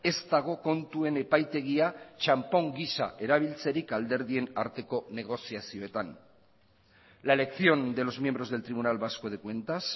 ez dago kontuen epaitegia txanpon giza erabiltzerik alderdien arteko negoziazioetan la elección de los miembros del tribunal vasco de cuentas